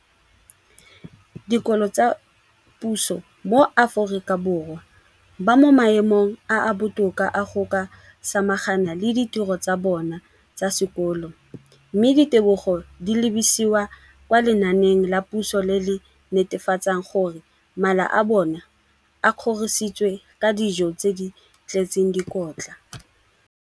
dikolo tsa puso mo Aforika Borwa ba mo maemong a a botoka a go ka samagana le ditiro tsa bona tsa sekolo, mme ditebogo di lebisiwa kwa lenaaneng la puso le le netefatsang gore mala a bona a kgorisitswe ka dijo tse di tletseng dikotla.